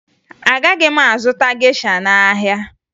Agaghị m azụta gesha n'ahịa